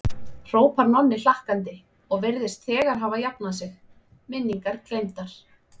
hrópar Nonni hlakkandi og virðist þegar hafa jafnað sig, minningar gleymdar.